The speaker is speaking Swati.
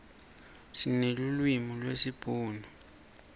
sinelulwimi lesibhunu